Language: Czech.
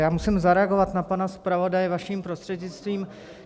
Já musím zareagovat na pana zpravodaje, vaším prostřednictvím.